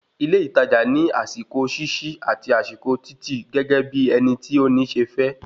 Ilé ìtajà ní àsìkò ṣíṣí àti àsìkò títì gẹ́gẹ́ bí ẹni tí o ní se fẹ